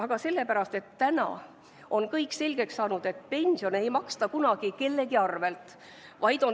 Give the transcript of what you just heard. Aga sellepärast, et nüüdseks on kõik selgeks saanud, et pensione ei maksta kunagi kellegi arvel.